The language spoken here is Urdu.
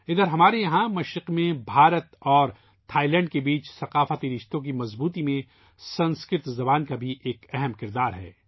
اِدھر ہمارے یہاں مشرق میں بھارت اور تھائی لینڈ کے درمیان ثقافتی تعلقات کی مضبوطی میں سنسکرت کا بھی اہم کردار ہے